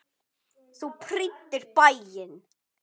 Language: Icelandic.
Þú prýddir bæinn.